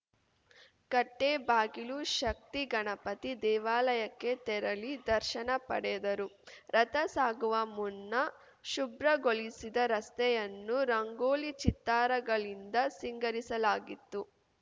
ಕಟ್ಟೇಬಾಗಿಲು ಶಕ್ತಿ ಗಣಪತಿ ದೇವಾಲಯಕ್ಕೆ ತೆರಳಿ ದರ್ಶನ ಪಡೆದರು ರಥ ಸಾಗುವ ಮುನ್ನ ಶುಭ್ರಗೊಳಿಸಿದ ರಸ್ತೆಯನ್ನು ರಂಗೋಲಿ ಚಿತ್ತಾರಗಳಿಂದ ಸಿಂಗರಿಸಲಾಗಿತ್ತು